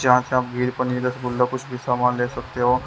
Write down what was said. जहाँ से आप घी पनीर रसगुल्ला कुछ भी सामान ले सकते हो।